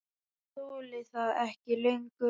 Ég þoli þetta ekki lengur.